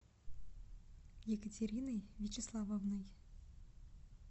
екатериной вячеславовной